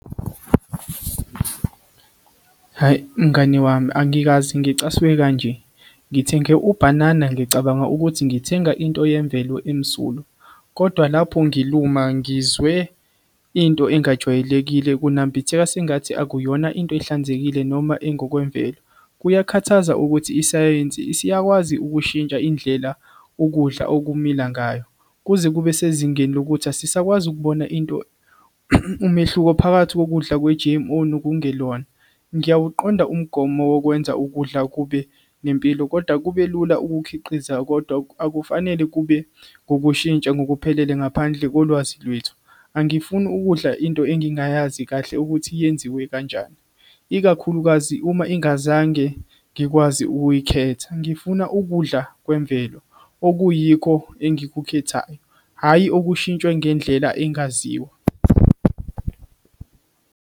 Hhayi, mngani wami angikaze ngicasuke kanje ngithenge ubhanana ngicabanga ukuthi ngithenga into yemvelo emsulwa, kodwa lapho ngiluma ngizwe into engajwayelekile kunambitheka sengathi akuyona into ehlanzekile noma engokwemvelo. Kuyakhathaza ukuthi isayensi isiyakwazi ukushintsha indlela ukudla okumila ngayo kuze kube sezingeni lokuthi asisakwazi ukubona into umehluko phakathi kokudla kwe-G_M_O nokungelona. Ngiyawuqonda umgomo wokwenza ukudla kube nempilo kodwa kube lula ukukhiqiza, kodwa akufanele kube ngokushintsha ngokuphelele ngaphandle kolwazi lwethu. Angifuni ukudla into engingayazi kahle ukuthi yenziwe kanjani, ikakhulukazi uma ingazange ngikwazi ukuyikhetha. Ngifuna ukudla kwemvelo okuyikho engikukhethayo hhayi okushintshwe ngendlela engaziwa.